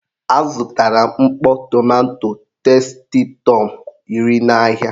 A zụtara m mkpọ tomanto testitọm iri n'ahịa.